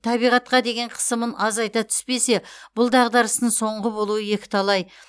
табиғатқа деген қысымын азайта түспесе бұл дағдарыстың соңғы болуы екіталай